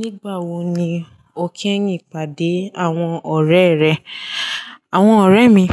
Nígbà wo ni o kí ẹ̀yin pàdé àwọn ọ̀rẹ́ rẹ? Àwọn ọ̀rẹ́ mi,